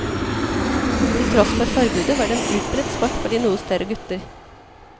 Til tross for forbudet, var det en utbredt sport for de noe større gutter.